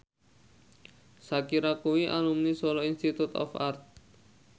Shakira kuwi alumni Solo Institute of Art